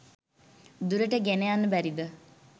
දුරට ගෙනයන්න බැරිද?